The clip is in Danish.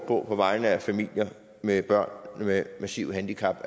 på vegne af familier med børn med massive handicap